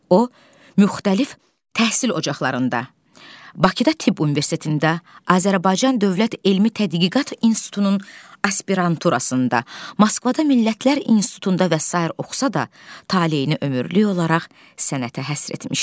O müxtəlif təhsil ocaqlarında, Bakıda Tibb Universitetində, Azərbaycan Dövlət Elmi Tədqiqat İnstitutunun aspiranturasında, Moskvada Millətlər İnstitutunda və sair oxusa da, taleyini ömürlük olaraq sənətə həsr etmişdi.